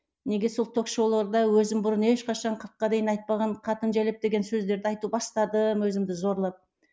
неге сол ток шоуларда өзім бұрын ешқашан қырыққа дейін айтпаған қатын жәләп деген сөздерді айту бастадым өзімді зорлап